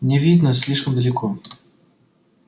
не видно слишком далеко